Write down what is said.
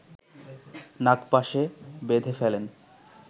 নাগপাশে বেধে ফেলেন